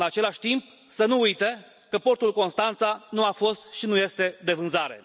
În același timp, să nu uite că portul Constanța nu a fost și nu este de vânzare.